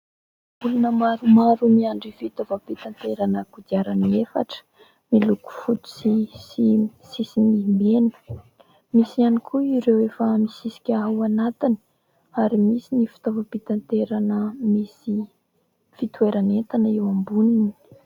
Olona maromaro miandry fitaovam-pitaterana kodiarany'efatra miloko fotsy sy sisiny mena. Misy ihany koa ireo efa misisika ao anatiny ary misy ny fitaovam-pitaterana misy fitoeran'entana eo amboniny.